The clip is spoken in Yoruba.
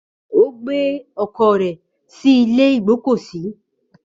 Ó gbé ọkọ̀ rẹ̀ sí ilé ìgbọ́kọ̀sí.